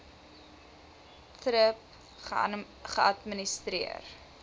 thrip geadministreer